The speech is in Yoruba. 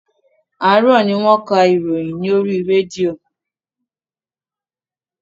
Àràárọ̀ ni wọ́n ka ìròyìn lórí rédíò.